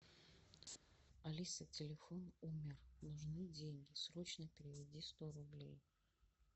алиса телефон умер нужны деньги срочно переведи сто рублей